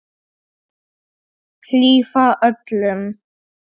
Hlífa öllum.